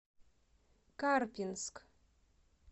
карпинск